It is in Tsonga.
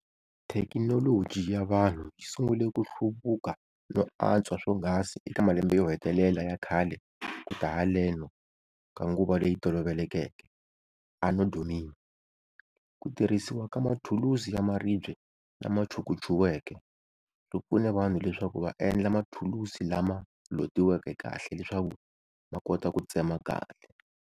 Thekinoloji yavanhu yisungule kuhluvuka no antswa swonghasi eka malembe yohetelela yakhale kuta haleno ka nguva leyitolovelekeke Ano Domini. Kutirhisiwa ka mathulusi yamaribye lamachukuchuweke, swipfune vanhu leswaku vaendla mathulusi lama lotiweke kahle leswaku makota kutsema kahle.